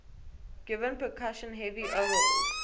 given percussion heavy overhauls